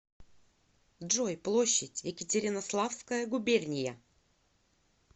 джой площадь екатеринославская губерния